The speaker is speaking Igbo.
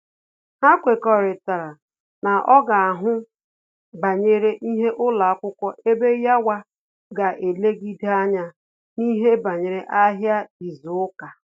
Ha kwekọrịtara na ọ ga ahụ banyere ihe ụlọakwụkwọ ebe yawa ga elegide anya n'ihe banyere ahịa izu uka